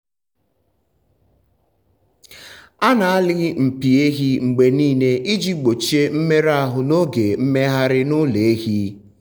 a na-alị mpi ehi mgbe niile iji gbochie mmerụ ahụ n’oge mmegharị n’ụlọ ehi.